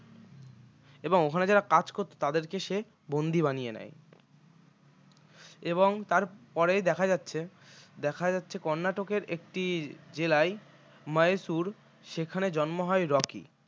এবং ওখানে যারা কাজ করতো তাদেরকে সে বন্দি বানিয়ে নেয় এবং তার পরে দেখা যাচ্ছে দেখা যাচ্ছে কর্নাটকের একটি জেলায় মাইসোর সেখানে জন্ম হয় রকির